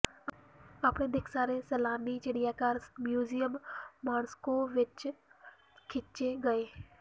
ਆਪਣੇ ਦਿੱਖ ਸਾਰੇ ਸੈਲਾਨੀ ਚਿੜੀਆਘਰ ਮਿਊਜ਼ੀਅਮ ਮਾਸ੍ਕੋ ਵਿੱਚ ਖਿੱਚੇ ਗਏ